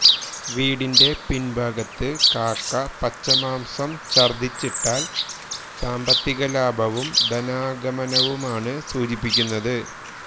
വീടിന്റെ പിൻഭാഗത്ത് കാക്ക പച്ചമാംസം ഛർദ്ദിച്ചിട്ടാൽ സാമ്പത്തികലാഭവും ധനാഗമനവുമാണ് സൂചിപ്പിക്കുന്നത്